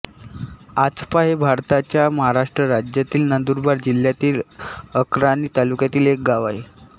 आचपा हे भारताच्या महाराष्ट्र राज्यातील नंदुरबार जिल्ह्यातील अक्राणी तालुक्यातील एक गाव आहे